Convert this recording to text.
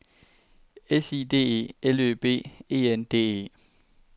S I D E L Ø B E N D E